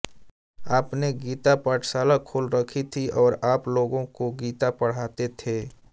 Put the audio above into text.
आपने गीता पाठशाला खोल रखी थी और आप लोगों को गीता पढाते थे